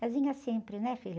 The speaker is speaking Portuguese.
Casinha simples, né, filho?